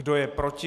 Kdo je proti?